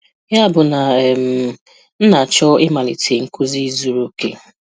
Ya bụ na um m na-achọ ịmalite na nkuzi zuru oke.